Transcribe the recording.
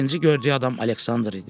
Birinci gördüyü adam Aleksandr idi.